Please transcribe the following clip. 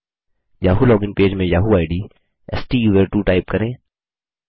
Yahoo login page में Yahoo I D स्टूसर्टवो type करें